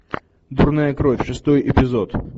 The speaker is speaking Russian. дурная кровь шестой эпизод